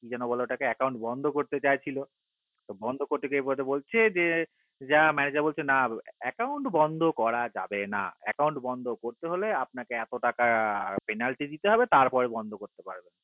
কি যেন বলে ওটাকে account বন্ধ করতে চাইছিলো তা বন্ধ করতে গিয়ে বলছে যে manager বলছে না account বন্ধ করা যাবে না account বন্ধ করতে হলে আপনাকে এতো টাকা penalty দিতে হবে তার পারে বন্ধ করতে পারবেন